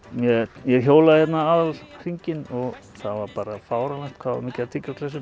ég hjólaði aðalhringinn og það var bara fáránlegt hvað það mikið af